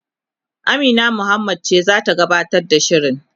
Amina Muhammad ce zata gabatar da shirin